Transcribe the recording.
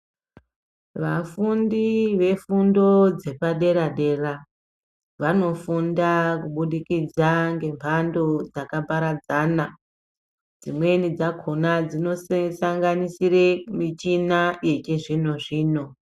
Vafundi vefundo dzepadera dera, vanofunda kubudikidza ngembando dzakaparadzana, dzimweni dzakhona dzinosanganisire michina yechizvino zvino.